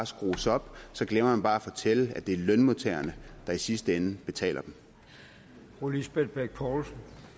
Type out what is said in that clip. skrues op glemmer man bare at fortælle at det er lønmodtagerne der i sidste ende betaler for